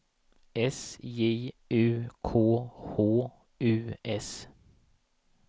S J U K H U S